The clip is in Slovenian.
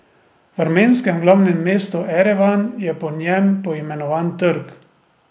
V armenskem glavnem mestu Erevan je po njem poimenovan trg.